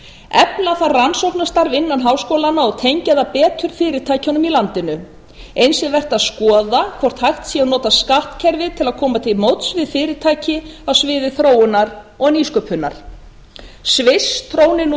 efla þarf rannsóknarstarf innan háskólanna og tengja það betur fyrirtækjunum í landinu eins er vert að skoða hvort hægt sé að nota skattkerfið til að koma til móts við fyrirtæki á sviði þróunar og nýsköpunar sviss trónir nú í